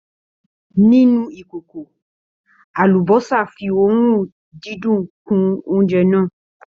Nínú ìkòkò, àlúbósà fí òórùn dídùn kun óúnjẹ náà.